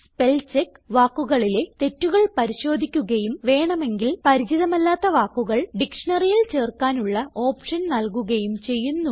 spellcheck വാക്കുകളിലെ തെറ്റുകൾ പരിശോധിക്കുകയും വേണമെങ്കിൽ പരിചിതമല്ലാത്ത വാക്കുകൾ ഡിക്ഷ്ണറിയിൽ ചേർക്കാനുള്ള ഓപ്ഷൻ നല്കുകയും ചെയ്യുന്നു